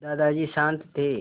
दादाजी शान्त थे